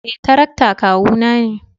Eh, tarakta kawu na ne.